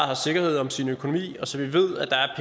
har sikkerhed om sin økonomi og så vi ved at der er